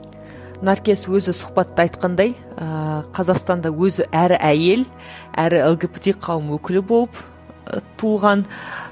наркес өзі сұхбатта айтқандай ыыы қазақстанда өзі әрі әйел әрі лгбт қауым өкілі болып ы туылған